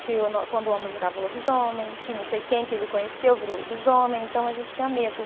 que o nó, quando o homem virava lobisomem, que não sei quem que ele conheceu virou lobisomem, então a gente tinha medo.